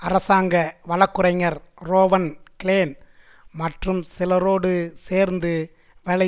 அரசாங்க வழக்குரைஞர் Rowan Klein மற்றும் சிலரோடு சேர்ந்து வேலை